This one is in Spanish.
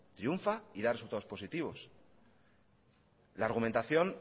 triunfa y da resultados positivos la argumentación